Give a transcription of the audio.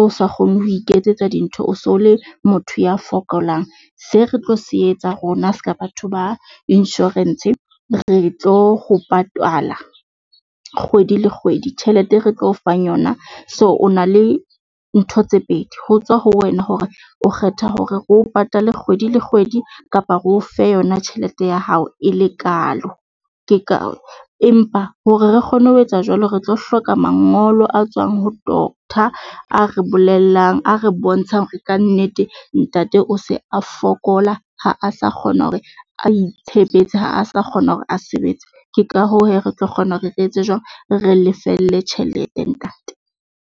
o sa kgone ho iketsetsa dintho, o so le motho ya fokolang. Se re tlo se etsa rona seka batho ba insurance, re tlo go patalwa kgwedi le kgwedi. Tjhelete e re tlo o fang yona, so o na le ntho tse pedi ho tswa ho wena hore o kgetha hore o patale kgwedi le kgwedi kapa re ofe yona tjhelete ya hao e le kalo. Ke ka empa hore re kgone ho etsa jwalo, re tlo hloka mangolo a tswang ho doctor. A re bolellang a re bontshang hore kannete ntate o se a fokola ha a sa kgona hore a itshebetse ha a sa kgona hore a sebetse. Ke ka hoo hee re tlo kgona hore re etse jwang? Re lefelle tjhelete ntate.